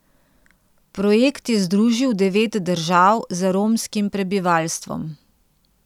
Projekt je združil devet držav z romskim prebivalstvom.